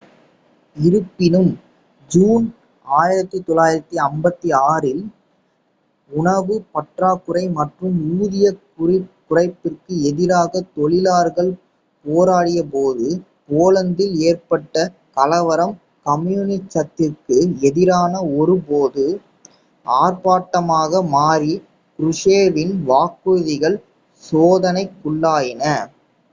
இருப்பினும் ஜூன் 1956 இல் உணவு பற்றாக்குறை மற்றும் ஊதிய குறைப்பிற்கு எதிராக தொழிலாளர்கள் போராடிய போது போலந்தில் ஏற்பட்ட கலவரம் கம்யூனிசத்திற்கு எதிரான ஒரு பொது ஆர்ப்பாட்டமாக மாறி க்ருஷ்சேவின் வாக்குறுதிகள் சோதனைக்குள்ளாயின